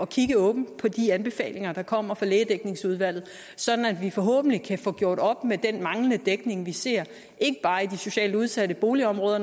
kigge åbent på de anbefalinger der kommer fra lægedækningsudvalget sådan at vi forhåbentlig kan få gjort op med den manglende dækning vi ser ikke bare i de socialt udsatte boligområder